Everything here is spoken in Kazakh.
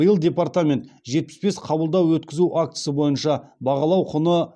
биыл департамент жетпіс бес қабылдау өткізу актісі бойынша бағалау құны